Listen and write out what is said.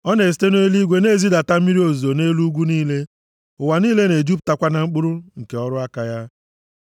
Ọ na-esite nʼeluigwe na-ezidata mmiri ozuzo nʼelu ugwu niile; ụwa niile na-ejupụtakwa na mkpụrụ nke ọrụ aka ya.